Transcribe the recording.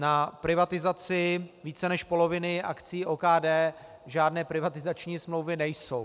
Na privatizaci více než poloviny akcií OKD žádné privatizační smlouvy nejsou.